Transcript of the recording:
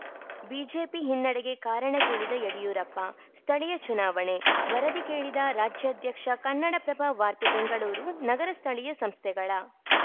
BJP ಹಿನ್ನಡೆಗೆ ಕಾರಣ ಕೇಳಿದ ಯಡಿಯೂರಪ್ಪ ಸ್ಥಳೀಯ ಚುನಾವಣೆ ವರದಿ ಕೇಳಿದ ರಾಜ್ಯಾಧ್ಯಕ್ಷ ಕನ್ನಡಪ್ರಭ ವಾರ್ತೆ ಬೆಂಗಳೂರು ನಗರ ಸ್ಥಳೀಯ ಸಂಸ್ಥೆಗಳ